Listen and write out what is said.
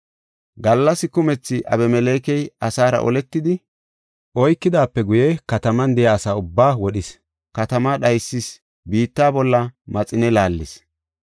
Gallas kumethi Abimelekey asaara oletidi oykidaape guye kataman de7iya asa ubbaa wodhis; katamaa dhaysis; biitta bolla maxine laallis.